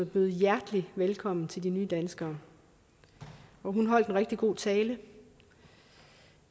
bød hjertelig velkommen til de nye danskere hun holdt en rigtig god tale